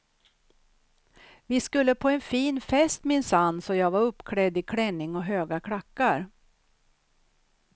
Vi skulle på en fin fest minsann så jag var uppklädd i klänning och höga klackar.